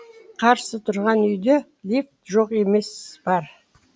қарсы тұрған үйде лифт жоқ емес бар